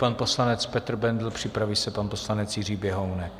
Pan poslanec Petr Bendl, připraví se pan poslanec Jiří Běhounek.